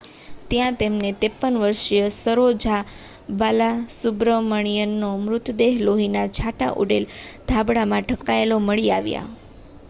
ત્યાં તેમને 53 વર્ષીય સરોજા બાલાસુબ્રમણિયનનો મૃતદેહ લોહીનાં છાંટા ઊડેલ ધાબળામાં ઢંકાયેલ મળી આવ્યો